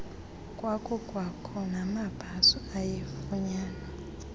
kwakukwakho namabhaso ayefunyanwa